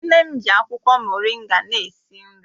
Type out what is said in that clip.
Nne m ji akwụkwọ moringa na-esi nri